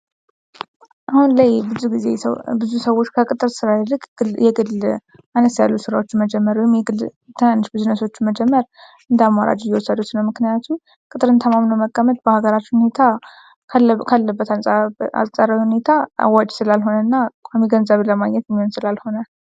አሁን ላይ ብዙ ሰዎች ከቅጥር ስራ ይልቅ የግል አነስ ያሉ ስራዎችን ወይም የግል ትንንሽ ቢዝነሶችን መጀመር እንደአማራጭ እየወሰዱት ነው። ምክንያቱም ቅጥርን ተማምኖ መቀመጥ በሃገራችን ሁኔታ ካለበት አንጻራዊ ሁኔታ አዋጭ ስላልሆነ እና ቋሚ ገንዘብን የሚያስገኝ ስላልሆነ።